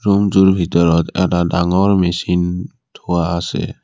ৰূমটোৰ ভিতৰত এটা ডাঙৰ মেচিন থোৱা আছে।